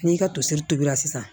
N'i ka toseri turu la sisan